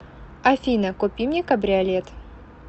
афина купи мне кабриолет